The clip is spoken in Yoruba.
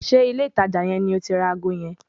Ṣé ilé ìtajà yẹn ni o ti ra ago yẹn?